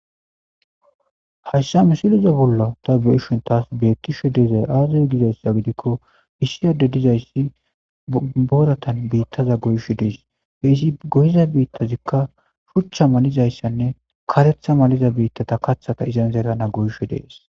hayssa misiliza bollo ta beishon taas bettisho deezay aazar gizayssa gidikko issiyade dizayssi booratan biittaza goysho dies he isi gohiza biittazikka shuchcha malizayssanne karetha maliza biittata kathata izan zeerana goysho dees